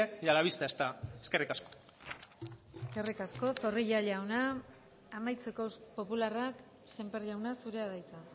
y a la vista está eskerrik asko eskerrik asko zorrilla jauna amaitzeko popularrak sémper jauna zurea da hitza